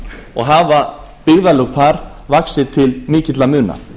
og hafa byggðarlög þar vaxið til mikilla muna